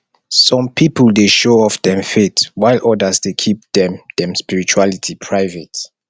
some people dey show off dem faith while others dey keep dem dem spirituality private